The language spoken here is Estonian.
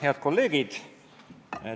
Head kolleegid!